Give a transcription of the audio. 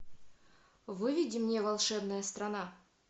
выведи мне волшебная страна